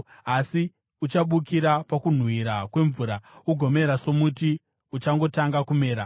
asi uchabukira pakunhuhwira kwemvura ugomera somuti uchangotanga kumera.